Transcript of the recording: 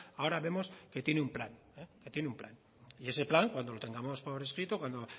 ahora vemos que tiene un plan que tiene un plan y ese plan cuando lo tengamos por escrito cuando